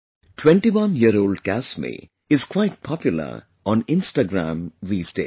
21 year old Kasmi is quite popular on Instagram these days